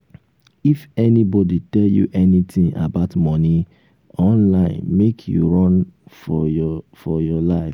if anybody tell you anything about money online make you run for your for your life